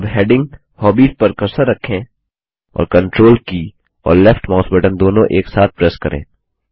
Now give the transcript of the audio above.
अब heading hobbies पर cursor रखें और कंट्रोल के और लेफ्ट माउस बटन दोनों एक साथ प्रेस करें